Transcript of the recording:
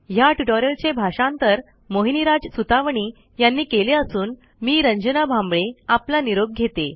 ह्या ट्युटोरियलचे भाषांतर मोहिनीराज सुतवणी यांनी केले असून मी रंजना भांबळे आपला निरोप घेते